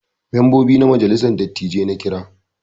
Membobi na majalissar dattijai na Kira.